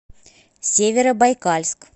северобайкальск